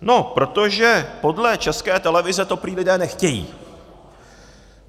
No protože podle České televize to prý lidé nechtějí.